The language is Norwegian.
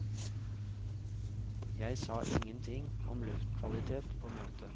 Jeg sa ingenting om luftkvalitet på møtet.